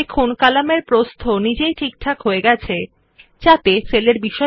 দেখুন কলামের প্রস্থ নিজেই ঠিকঠাক হয়ে যায় যাতে সেলের বিষয়বস্তুর কলামে ধরে যায়